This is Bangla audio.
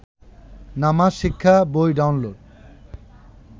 নামাজ শিক্ষা বই ডাউনলোড